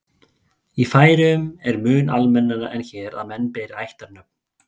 í færeyjum er mun almennara en hér að menn beri ættarnöfn